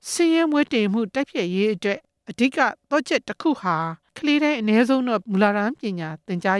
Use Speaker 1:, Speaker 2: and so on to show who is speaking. Speaker 1: ဆင်းရဲမွဲတေမှုတိုက်ဖျက်ရေးအတွက် ကလေးတိုင်း အနည်းဆုံးတော့ မူလတန်းပညာ သင်ကြား